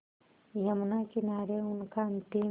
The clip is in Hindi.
यमुना किनारे उनका अंतिम